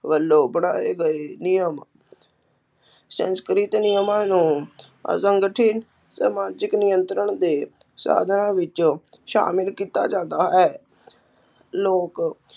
ਵੱਲੋਂ ਬਣਾਏ ਗਏ ਨਿਯਮ, ਸੰਸਕ੍ਰਿਤ ਨਿਯਮਾਂ ਨੂੰ ਸਮਾਜਿਕ ਨਿਯੰਤਰਣ ਦੇ ਸਾਧਨਾਂ ਵਿੱਚੋਂ ਸ਼ਾਮਿਲ ਕੀਤਾ ਜਾਂਦਾ ਹੈ ਲੋਕ